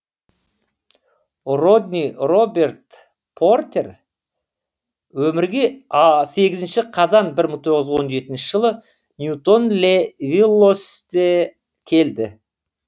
родни роберт портер өмірге сегізінші қазан бір мың тоғыз жүз он жетінші жылы ньютон ле виллоусте келді